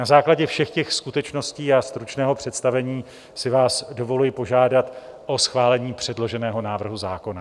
Na základě všech těch skutečností a stručného představení si vás dovoluji požádat o schválení předloženého návrhu zákona.